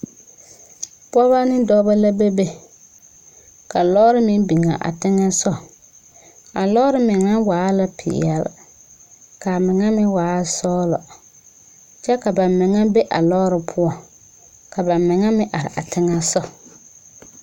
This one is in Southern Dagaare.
Pɔgesare bile la a laŋtaa a taa karitaare ba nuure poɔ ba taaɛ karita tɛɛtɛɛ a sɛgre meŋ naŋ be a karitaa poɔ sɛge tɛɛtɛɛ la kyɛ ka ba zɛge ba nuuri a eŋ saseɛ poɔ.